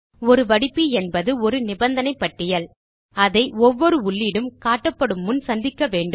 ஒரு வடிப்பி என்பது ஒரு நிபந்தனை பட்டியல் அதை ஒவ்வொரு உள்ளீடும் காட்டப்படும் முன் சந்திக்க வேண்டும்